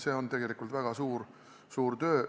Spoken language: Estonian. See on tegelikult väga suur töö.